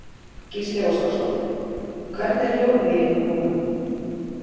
Gísli Óskarsson: Hvernig er hljóðið í ykkur núna?